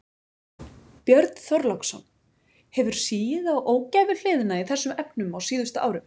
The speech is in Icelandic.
Björn Þorláksson: Hefur sigið á ógæfuhliðina í þessum efnum á síðustu árum?